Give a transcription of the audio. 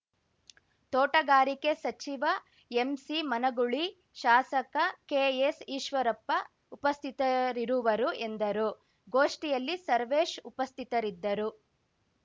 ತೋಟಗಾರಿಕೆ ಸಚಿವ ಎಂಸಿಮನಗೂಳಿ ಶಾಸಕ ಕೆಎಸ್‌ ಈಶ್ವರಪ್ಪ ಉಪಸ್ಥಿತರಿರುವರು ಎಂದರು ಗೋಷ್ಠಿಯಲ್ಲಿ ಸರ್ವೇಶ್‌ ಉಪಸ್ಥಿತರಿದ್ದರು